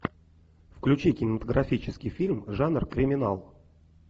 включи кинематографический фильм жанр криминал